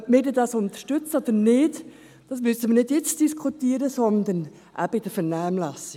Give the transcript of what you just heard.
Ob wir dies dann unterstützen oder nicht, müssen wir nicht jetzt diskutieren, sondern eben in der Vernehmlassung.